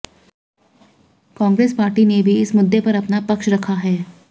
Congress party ने भी इस मुद्दे पर अपना पक्ष रखा है